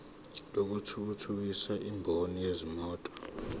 lokuthuthukisa imboni yezimoto